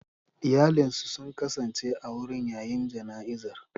Iyalinsu sun kasance a wurin yayin jana'izar.